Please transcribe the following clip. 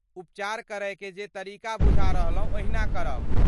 उपचार करयकेँ जे तरीका बुझा रहलहुँ ओहिना करब।